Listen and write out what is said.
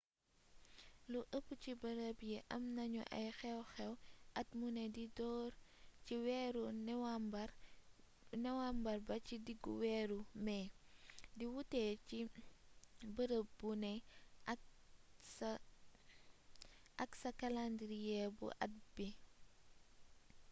lu ëpp ci bërëb yi am na ñu ay xew xew at muné di door ci weeru niwambar ba ci diggu weeru mé di wuuté ci bërëb bu né ak sa kalendiriye bu at bi